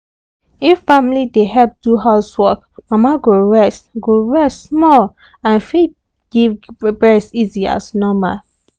if family dey help do house work mama go rest go rest small and fit givebresbreast easy as normal